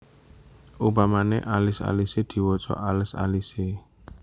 Upamane alis alise diwaca alés alise